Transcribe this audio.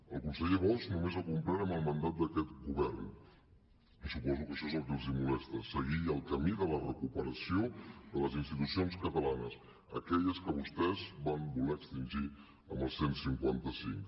el conseller bosch només ha complert amb el mandat d’aquest govern i suposo que això és el que els molesta seguir el camí de la recuperació de les institucions catalanes aquelles que vostès van voler extingir amb el cent i cinquanta cinc